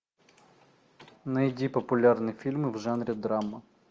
найди популярные фильмы в жанре драма